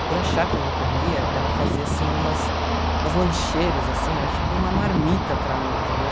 E por achar que eu não comia, ela fazia, assim, umas umas lancheiras, assim, era tipo uma marmita para mim, entendeu?